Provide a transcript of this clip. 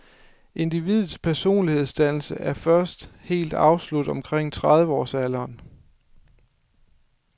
Individets personlighedsdannelse er først helt afsluttet omkring trediveårsalderen.